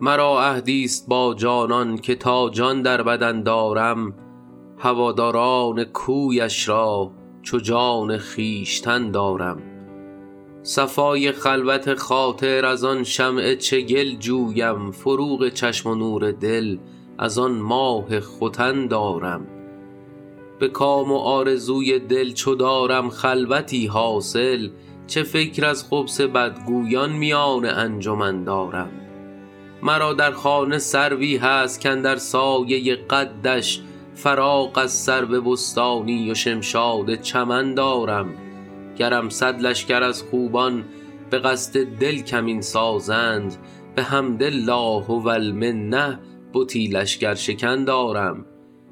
مرا عهدی ست با جانان که تا جان در بدن دارم هواداران کویش را چو جان خویشتن دارم صفای خلوت خاطر از آن شمع چگل جویم فروغ چشم و نور دل از آن ماه ختن دارم به کام و آرزوی دل چو دارم خلوتی حاصل چه فکر از خبث بدگویان میان انجمن دارم مرا در خانه سروی هست کاندر سایه قدش فراغ از سرو بستانی و شمشاد چمن دارم گرم صد لشکر از خوبان به قصد دل کمین سازند بحمد الله و المنه بتی لشکرشکن دارم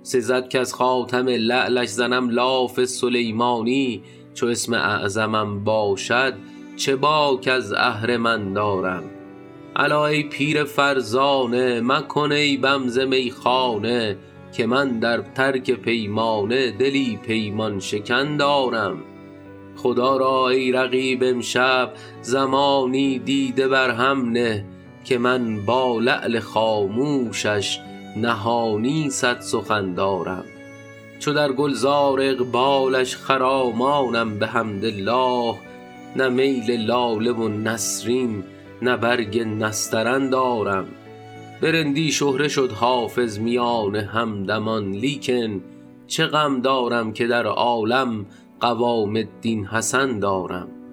سزد کز خاتم لعلش زنم لاف سلیمانی چو اسم اعظمم باشد چه باک از اهرمن دارم الا ای پیر فرزانه مکن عیبم ز میخانه که من در ترک پیمانه دلی پیمان شکن دارم خدا را ای رقیب امشب زمانی دیده بر هم نه که من با لعل خاموشش نهانی صد سخن دارم چو در گل زار اقبالش خرامانم بحمدالله نه میل لاله و نسرین نه برگ نسترن دارم به رندی شهره شد حافظ میان همدمان لیکن چه غم دارم که در عالم قوام الدین حسن دارم